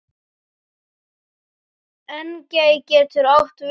Engey getur átt við um